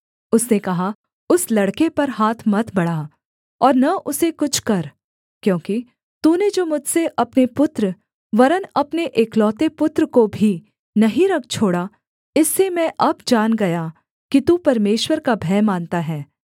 उसने कहा उस लड़के पर हाथ मत बढ़ा और न उसे कुछ कर क्योंकि तूने जो मुझसे अपने पुत्र वरन् अपने एकलौते पुत्र को भी नहीं रख छोड़ा इससे मैं अब जान गया कि तू परमेश्वर का भय मानता है